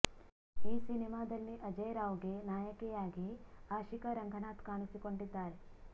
ಈ ಸಿನಿಮಾದಲ್ಲಿ ಅಜಯ್ ರಾವ್ ಗೆ ನಾಯಕಿಯಾಗಿ ಆಶಿಕಾ ರಂಗನಾಥ್ ಕಾಣಿಸಿಕೊಂಡಿದ್ದಾರೆ